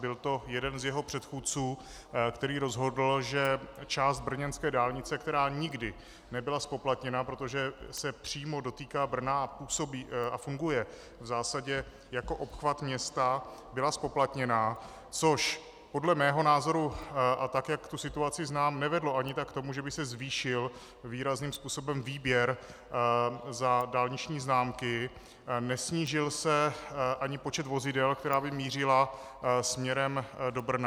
Byl to jeden z jeho předchůdců, který rozhodl, že část brněnské dálnice, která nikdy nebyla zpoplatněna, protože se přímo dotýká Brna a funguje v zásadě jako obchvat města, byla zpoplatněna, což podle mého názoru, a tak jak tu situaci znám, nevedlo ani tak k tomu, že by se zvýšil výrazným způsobem výběr za dálniční známky, nesnížil se ani počet vozidel, která by mířila směrem do Brna.